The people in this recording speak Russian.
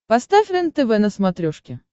поставь рентв на смотрешке